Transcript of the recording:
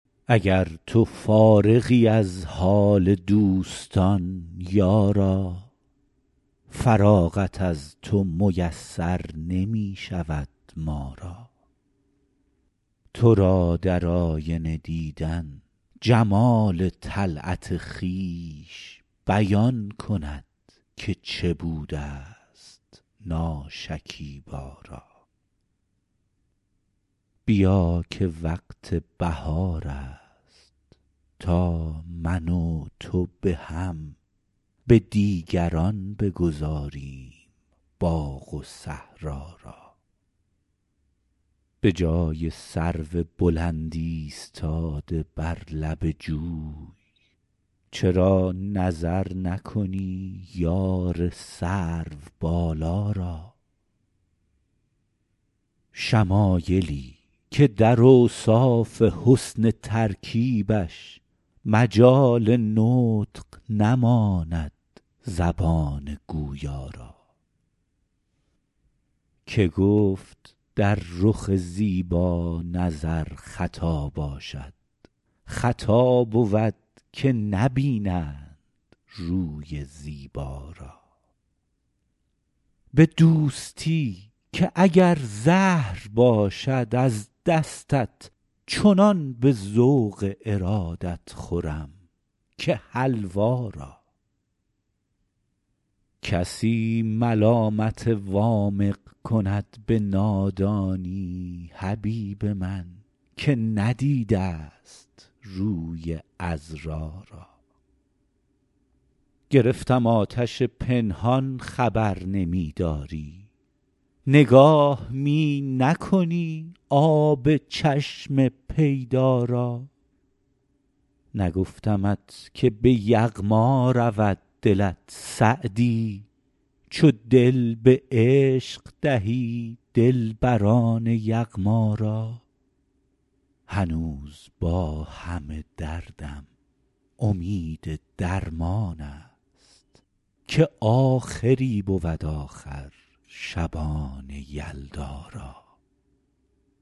اگر تو فارغی از حال دوستان یارا فراغت از تو میسر نمی شود ما را تو را در آینه دیدن جمال طلعت خویش بیان کند که چه بوده ست ناشکیبا را بیا که وقت بهار است تا من و تو به هم به دیگران بگذاریم باغ و صحرا را به جای سرو بلند ایستاده بر لب جوی چرا نظر نکنی یار سروبالا را شمایلی که در اوصاف حسن ترکیبش مجال نطق نماند زبان گویا را که گفت در رخ زیبا نظر خطا باشد خطا بود که نبینند روی زیبا را به دوستی که اگر زهر باشد از دستت چنان به ذوق ارادت خورم که حلوا را کسی ملامت وامق کند به نادانی حبیب من که ندیده ست روی عذرا را گرفتم آتش پنهان خبر نمی داری نگاه می نکنی آب چشم پیدا را نگفتمت که به یغما رود دلت سعدی چو دل به عشق دهی دلبران یغما را هنوز با همه دردم امید درمان است که آخری بود آخر شبان یلدا را